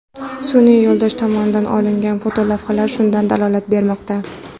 Sun’iy yo‘ldosh tomonidan olingan fotolavhalar shundan dalolat bermoqda.